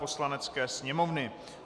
Poslanecké sněmovny